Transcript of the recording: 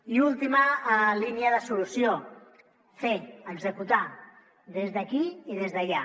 i última línia de solució fer executar des d’aquí i des d’allà